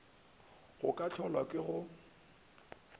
go ka hlolwa ke go